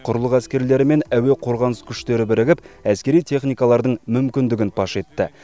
құрлық әскерлері мен әуе қорғаныс күштері бірігіп әскери техникалардың мүмкіндігін паш етті